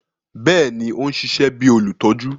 Bẹẹni, o n ṣiṣẹ bi olutọju